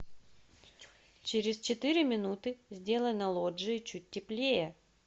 через четыре минуты сделай на лоджии чуть теплее